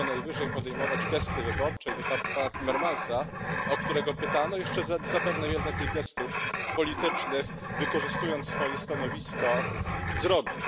Może co najwyżej wykonać gesty wyborcze i pan Timmermans, o którego pytano, jeszcze zapewne wiele takich gestów politycznych, wykorzystując swoje stanowisko, zrobi.